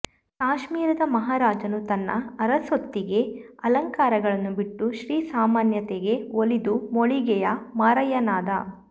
ಕಾಶ್ಮೀರದ ಮಹಾರಾಜನು ತನ್ನ ಅರಸೊತ್ತಿಗೆಅಲಂಕಾರಗಳನ್ನು ಬಿಟ್ಟು ಶ್ರೀ ಸಾಮಾನ್ಯತೆಗೆ ಒಲಿದು ಮೋಳಿಗೆಯ ಮಾರಯ್ಯನಾದ